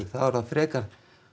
það frekar